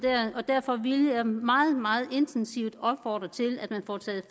og derfor vil jeg meget meget intensivt opfordre til at man får taget